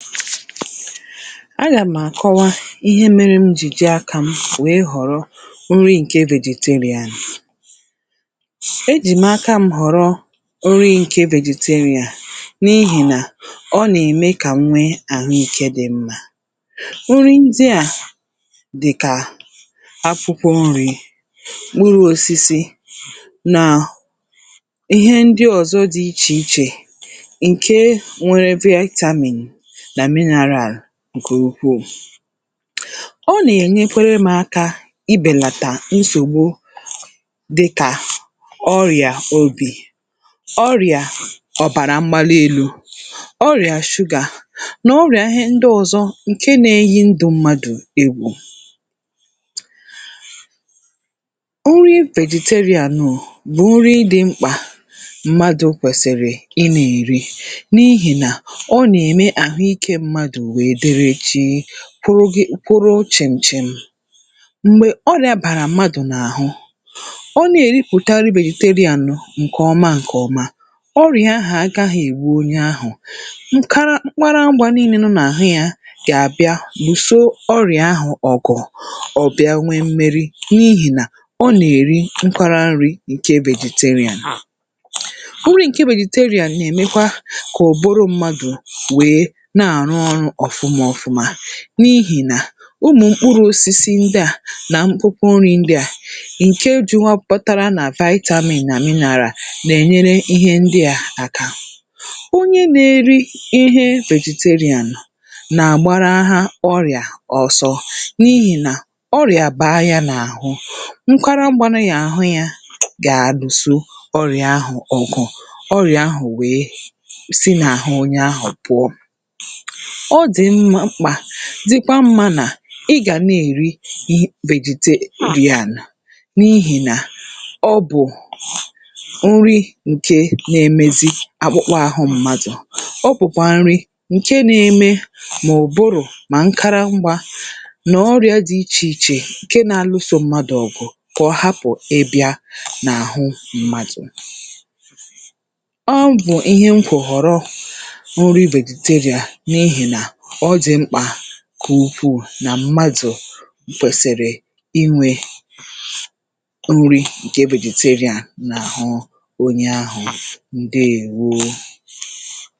a gàm̀ àkọwa ihe mērē m jì ji akām wèe ghọ̀rọ nri ǹke vegeteria ejì m̀ akam̄ ghọ̀rọ nri ǹke vegeteria n’ihì nà ọ nà-ème kà m nwee arụ̀ ikē dị mmā nri ndịà dị̇̀kà akwụkwọ nrī, mkpụrụ̄ osisi nà ihe ndị ọ̀zọ dị̄ ichè ichè ǹke nʷērē vitamin nà mineral ǹkè ukwuù ọ nà-ènyekwara m̄ aka ibènàtà nsògbu di̇kà ọrị̀à obì ọrị̀à ọ̀bàrà mgbali elū, ọrị̀à shụgà nà ọrị̀à ihe ndị ọ̄zọ̄ ǹke na-eyi ndụ̄ mmadụ̀ egwù nri vegetarian bụ̀ nri dị̄ mkpà mmadụ̄ kwèsị̀rị̀ i nà-èri n’ihì nà ọ nà-ème àhụ ikē mmadụ̀ wèe dere jìì kwụrụ gị kwụrụ chị̀m̀ chị̀m̀ m̀gbè ọrị̄ā bàrà mmadụ̀ n’àhụ ọ na-èripụ̀tari vegetarian ǹkè ọma ǹkè ọma ọrị̀à ahụ̀ agāghị ègbu onye ahụ̀ nkara mkpara ngwā niīnē nọ n’àhụ yā gà-àbịa lùso ọrị̀à ahụ̀ ọ̀gụ̀ n’ihì nà ọ nà-èri nkwara nrī ǹke vegetaria nri ǹke vegetaria nà-èmekwa kà ụ̀bụrụ̄ mmadụ̀ wèe na-àrụ ọrụ̄ ọ̀fụma ofụma n’ihì nà ụmụ̀mkpụrụ̄ osisi ndịà nà nkwụnkwụ nrī ndịà ǹke juwapụtara nà vitamin nà mineral nà-ènyere ihe ndịà aka onye nā-eri ihe vegetarian nà-àgbaraha ọrị̀à ọzọ n’ihì nà ọrị̀à bàa yā n’àhụ nkwara ngwā neyà àhụ yā gà-alùso ọrị̀à ahụ̀ ọ̀gụ̀ ọrị̀à ahụ̀ wèe si n’àhụ onye ahụ̀ pụ̀ọ ọ dị̀ m mkpà dị̇kwa mmā nà ị gà na-èri n vegetarian n’ihì nà ọ bụ̀ nri ǹke na-emezi akpụkpa āhụ̄ mmadụ̀ ọ bụ̀kwà nri ǹke na-eme mà ụ̀bụrụ̀ mà nkara ngwā nà ọrị̄ā dị ichè ichè ǹke na-alusō mmadụ̀ ọ̀gụ̀ kà ọ hapụ̀ ịbị̄ā n’àhụ mmadụ̀ ọ bụ̀ ihe n kwụ̀ họ̀rọ nri vegetaria n’ihì nà ọ dị̀ mkpà ǹkè ukwuù nà mmadụ̀ kwèsị̀rị̀ inwē nri ǹke vegetaria n’àhụ onye ahụ̀, ǹdeèwo